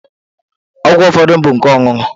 Ọgwụ ụfọdụ bụ nke ọṅụṅụ.